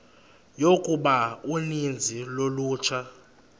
yokuba uninzi lolutsha